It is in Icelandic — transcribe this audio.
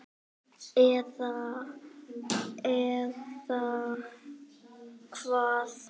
Eða, eða hvað?